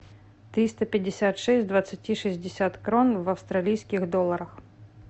триста пятьдесят шесть двадцати шестьдесят крон в австралийских долларах